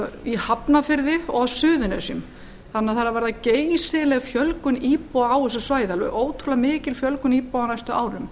í hafnarfirði og á suðurnesjum þannig að það er að verða geysileg fjölgun íbúa á þessu svæði alveg ótrúlega mikil fjölgun íbúa á næstu árum